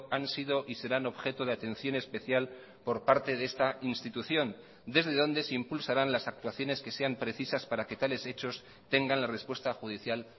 han sido y serán objeto de atención especial por parte de esta institución desde donde se impulsarán las actuaciones que sean precisas para que tales hechos tengan la respuesta judicial